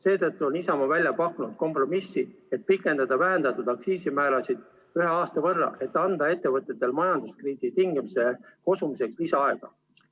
Seetõttu on Isamaa välja pakkunud kompromissi pikendada vähendatud aktsiisimäärasid ühe aasta võrra, et anda ettevõtetele majanduskriisi tingimustes kosumiseks lisaaega.